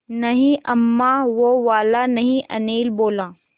नहीं अम्मा वो वाला नहीं अनिल बोला